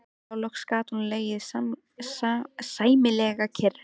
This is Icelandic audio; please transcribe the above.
Þá loks gat hún legið sæmilega kyrr.